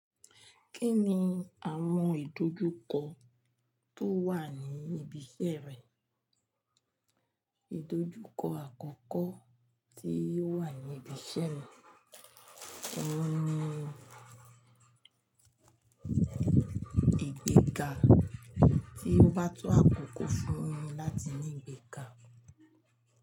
Kí ni àwọn ìdojúkọ tó wà ní ibi iṣẹ́ rẹ? Ìdojúkọ àkọ́kọ́ tí ó wà ní ibi iṣẹ́ mi, Òun ni ìgbéga tí ó bá tó àkókò fún mi láti ní ìgbéga.